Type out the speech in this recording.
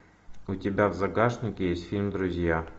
у тебя в загашнике есть фильм друзья